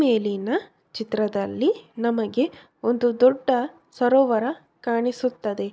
ಈ ಮೇಲಿನ ಚಿತ್ರದಲ್ಲಿ ನಮಗೆ ಒಂದು ದೊಡ್ಡ ಸರೋವರ ಕಾಣಿಸುತ್ತದೆ